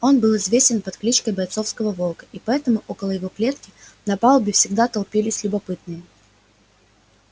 он был известен под кличкой бойцового волка и поэтому около его клетки на палубе всегда толпились любопытные